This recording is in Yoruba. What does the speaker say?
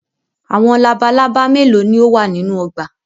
Awọn labalaba melo ni o wa ninu ọgba?